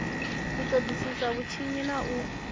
u ṱoḓisisa vhutshinyi na u